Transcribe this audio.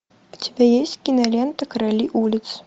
у тебя есть кинолента короли улиц